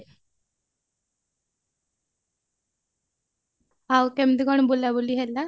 ଆଉ କେମତି କଣ ବୁଲା ବୁଲି ହେଲା